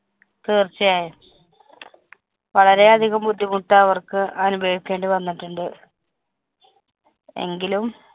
തീര്‍ച്ചയാ യും. വളരെയധികം ബുദ്ധിമുട്ട് അവര്‍ക്കനുഭവിക്കേണ്ടി വന്നിട്ടുണ്ട്. എങ്കിലും